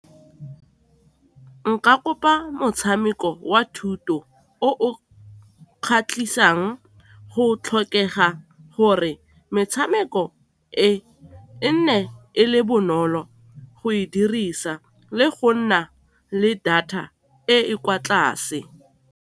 Nka kopa motshameko wa thuto o o kgatlhisang go tlhokega gore metshameko e e nne e le bonolo go e dirisa le go nna le data e e kwa tlase.